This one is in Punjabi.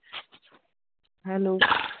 Hello